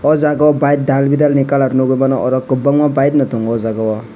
oh jagao bike daldidalni colour nukgo bono oro kwbangma bikeno tongo oh jagao.